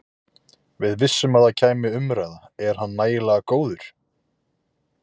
Við vissum að það kæmi umræða- er hann nægilega góður?